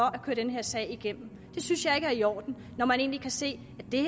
at køre den her sag igennem det synes jeg ikke er i orden når man kan se